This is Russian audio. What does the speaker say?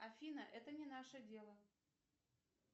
афина это не наше дело